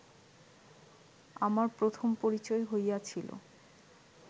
আমার প্রথম পরিচয় হইয়াছিল